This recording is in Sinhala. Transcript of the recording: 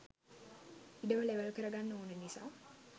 ඉඩම ලෙවල් කර ගන්න ඕන නිසා